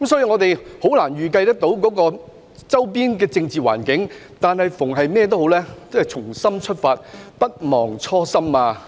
我們難以預計周邊的政治環境，但對於所有事，我們應不忘初心。